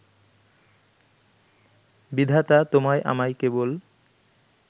বিধাতা তোমায় আমায় কেবল